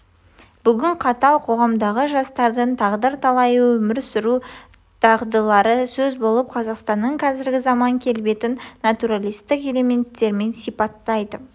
бүгінгі қатал қоғамдағы жастардың тағдыр-талайы өмір сүру дағдылары сөз болып қазақстанның қазіргі заман келбетін натуралистік элеметтермен сипаттайды